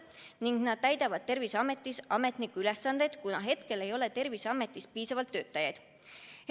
Need inimesed täidavad Terviseametis ametniku ülesandeid, kuna hetkel ei ole Terviseametis piisavalt töötajaid.